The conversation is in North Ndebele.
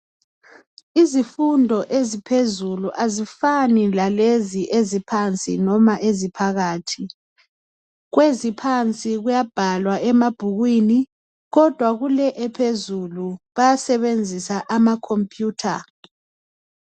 Izifunqdo eziphezulu azifani lalezi eziphansi noma eziphakathi. Kweziphansi kuyabhalwa emabhukwini kodwa kule ephezulu bayasebenzi amacomputer.